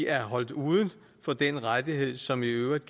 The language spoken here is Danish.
er holdt uden for den rettighed som i øvrigt